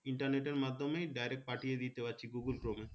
internet এর মাধ্যমেই direct পাঠিয়ে দিতে পারছি google chrome এ